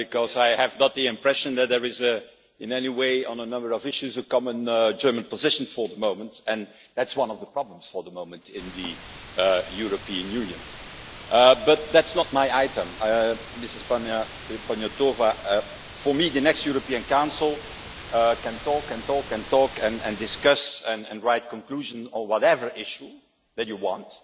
I have not the impression that there is in any way, on a number of issues a common German position for the moment and that is one of the problems for the moment in the European Union, but that is not my item. Ms Panayotova, the next European Council can talk and talk and talk and discuss and write conclusions on whatever issue that you want,